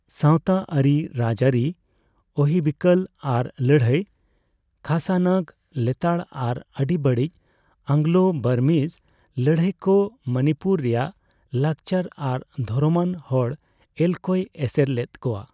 ᱥᱟᱣᱛᱟ ᱟᱹᱨᱤᱼᱨᱟᱡᱟᱹᱨᱤ ᱚᱦᱤᱵᱤᱠᱚᱞ ᱟᱨ ᱞᱟᱹᱲᱦᱟᱹᱭ, ᱠᱷᱟᱥᱟᱱᱟᱜ ᱞᱮᱛᱟᱲ ᱟᱨ ᱟᱹᱰᱤ ᱵᱟᱹᱲᱤᱡ ᱟᱝᱞᱳᱼᱵᱟᱨᱢᱤᱡ ᱞᱟᱹᱲᱦᱟᱹᱭ ᱠᱚ ᱢᱚᱱᱤᱯᱩᱨ ᱨᱮᱭᱟᱜ ᱞᱟᱠᱪᱟᱨ ᱟᱨ ᱫᱷᱚᱨᱚᱢᱟᱱ ᱦᱚᱲᱼᱮᱞ ᱠᱚᱭ ᱮᱥᱮᱨ ᱞᱮᱫ ᱠᱚᱣᱟ ᱾